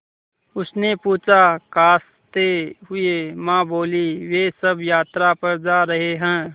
उसने पूछा खाँसते हुए माँ बोलीं वे सब यात्रा पर जा रहे हैं